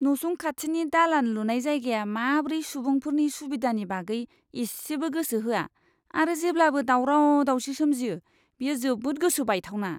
नसुं खाथिनि दालान लुनाय जायगाया माब्रै सुबुंफोरनि सुबिदानि बागै इसेबो गोसो होआ आरो जेब्लाबो दाउराव दाउसि सोमजियो, बेयो जोबोद गोसो बायथावना!